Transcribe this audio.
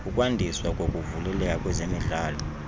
ukwandiswa kokuvuleleka kwezemidlalo